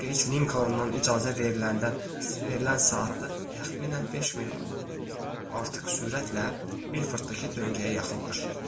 Dik Geç Linkolundan icazə veriləndən verilən saatda təxminən 5 mil artıq sürətlə Milforddakı döngəyə yaxınlaşır.